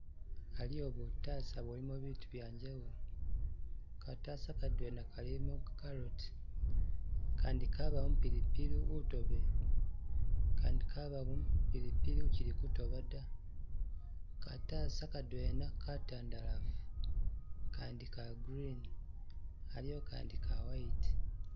Aliwo butasa bulimo bitu byanjawulo, katasa kadwena kalimo carrot, Kandi kabamo pilipili utobele, Kandi kabamo pilipili ukyilikutoba dda, katasa kadwena katandalafu Kandi ka green aliwo Kandi ka white